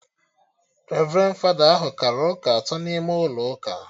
Revrendi fada ahụ kara ụka atọ n'ime ụlọ ụka